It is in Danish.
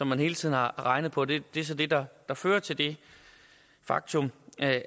man hele tiden har regnet på det er så det der fører til det faktum